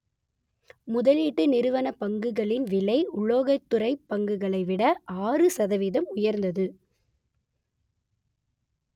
முதலீட்டு நிறுவனப் பங்குகளின் விலை உலோகத் துறை பங்குகளை விட ஆறு சதவீதம் உயர்ந்தது